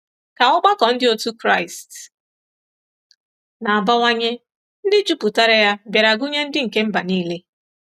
Ka ọgbakọ ndị otu Kraịst na-abawanye, ndị jupụtara ya bịara gụnye ndị nke mba nile.